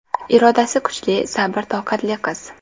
Irodasi kuchli, sabr-toqatli qiz.